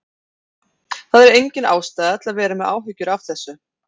Það er engin ástæða til að vera með áhyggjur af þessu.